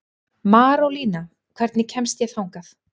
Marólína, hvernig kemst ég þangað?